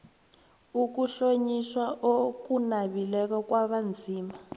ukuhlonyiswa okunabileko kwabanzima